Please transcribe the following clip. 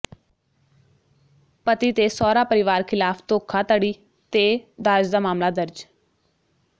ਪਤੀ ਤੇ ਸਹੁਰਾ ਪਰਿਵਾਰ ਿਖ਼ਲਾਫ਼ ਧੋਖਾਧੜੀ ਤੇ ਦਾਜ ਦਾ ਮਾਮਲਾ ਦਰਜ